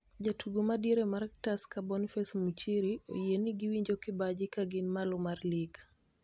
Jatugo ma diere mar Tusker Boniface Muchiri oyieni gi winjokibaji ka gin malo mar lig